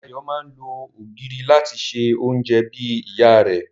Dayọ̀ máa ń lo ògìrì láti se oúnjẹ bí ìyá rẹ̀